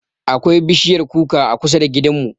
Akwai bishiyar kuka a kusa da gidanmu.